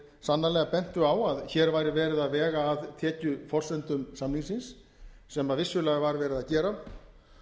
sannarlega bentu á að hér væri verið að vega að tekjuforsendum samningsins sem vissulega var verið að gera